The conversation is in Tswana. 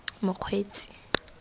mokgweetsi